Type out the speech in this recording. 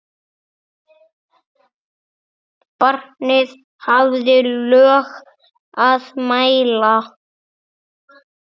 Barnið hafði lög að mæla.